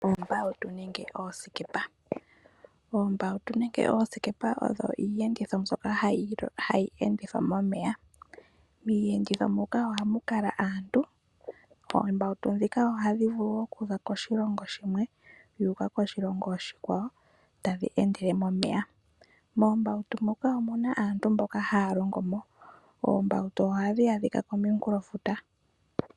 Oombawutu nenge oosikepa. Oombawutu nenge oosikepa odho iiyenditho mbyoka hayi endithwa momeya . Miiyenditho muka ohamu kala aantu . Oombawutu ndhika ohadhi vulu okuza koshilongo shimwe dhu uka koshilongo oshikwawo tadhi endele momeya. Moombautu muka omuna aantu mboka haya longomo. Oombawutu ohadhi adhila komunkulofuta